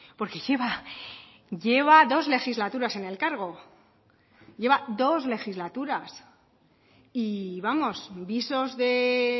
porque lleva dos legislaturas en el cargo lleva dos legislaturas y vamos visos de